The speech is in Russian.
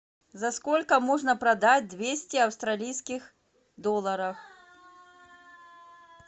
за сколько можно продать двести австралийских долларов